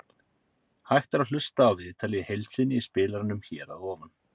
Hægt er að hlusta á viðtalið í heild sinni í spilaranum hér að ofan.